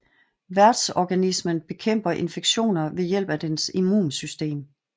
Værtsorganismen bekæmper infektioner ved hjælp af dens immunsystem